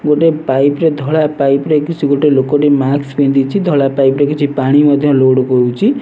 ଗୋଟେ ପାଇପ୍ ରେ ଧଳା ପାଇପ୍ ରେ କିଛି ଗୋଟେ ଲୋକଟି ମାସ୍କ ପିନ୍ଧିଛି ଧଳା ପାଇପ୍ ରେ କିଛି ପାଣି ମଧ୍ୟ ଲୋଡ୍ କରୁଛି।